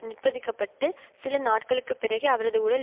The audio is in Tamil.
நிர்பந்திக்கப்பட்டு சில நாட்களுக்கு பிறகே அவரது உடல்